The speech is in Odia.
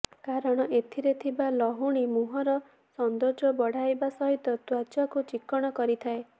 କାରଣ ଏଥିରେ ଥିବା ଲହୁଣୀ ମୁହଁର ସୌନ୍ଦର୍ଯ୍ୟ ବଢାଇବା ସହିତ ତ୍ୱଚାକୁ ଚିକ୍କଣ କରିଥାଏ